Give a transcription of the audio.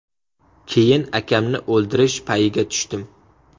Keyin akamni o‘ldirish payiga tushdim.